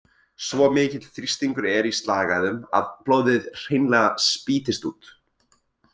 Svo mikill þrýstingur er í slagæðum að blóðið hreinlega spýtist út.